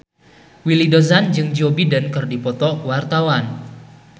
Willy Dozan jeung Joe Biden keur dipoto ku wartawan